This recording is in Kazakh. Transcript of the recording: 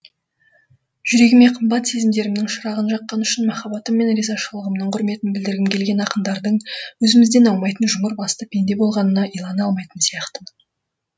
жүрегіме қымбат сезімдерімнің шырағын жаққаны үшін махаббатым мен ризашылығымның құрметін білдіргім келген ақындардың өзімізден аумайтын жұмыр басты пенде болғанына илана алмайтын сияқтымын